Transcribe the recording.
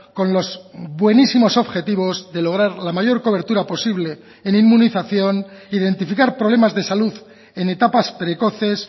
con los buenísimos objetivos de lograr la mayor cobertura posible en inmunización identificar problemas de salud en etapas precoces